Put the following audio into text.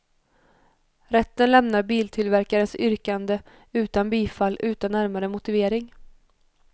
Rätten lämnar biltillverkarens yrkande utan bifall utan närmare motivering.